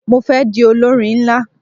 Mo fé di olórin nlá